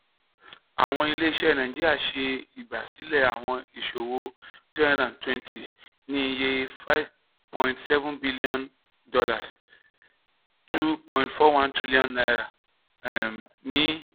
um awọn ile-iṣẹ naijiria ṣe igbasilẹ awọn iṣowo three hundred twenty ni iye $ five point seven bilionu (n two point four one trillion ) um ni